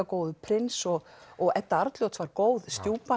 góður prins og og Edda Arnljóts var góð